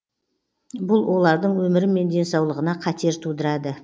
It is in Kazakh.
бұл олардың өмірі мен денсаулығына қатер тудырады